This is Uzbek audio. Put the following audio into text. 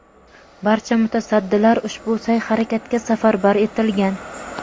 barcha mutasaddilar ushbu sa’y-harakatga safarbar etilgan.